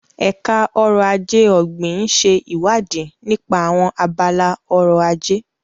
Ẹ̀ka Ọrọ̀ Ajé Ọ̀gbìn ń ṣe ìwádìí nípa àwọn abala ọrọ̀ ajé.